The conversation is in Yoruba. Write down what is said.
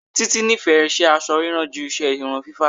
Títí nífẹ̀ẹ́ iṣẹ́ aṣọ rírán ju iṣẹ́ irun fífá.